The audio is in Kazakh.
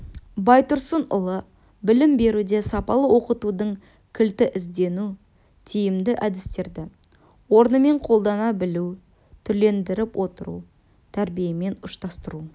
байтұрсынұлы білім беруде сапалы оқытудың кілті іздену тиімді әдістерді орнымен қолдана білу түрлендіріп отыру тәрбиемен ұштастыру